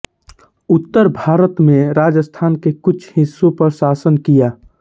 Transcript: उत्तर भारत में राजस्थान के कुछ हिस्सों पर शासन किया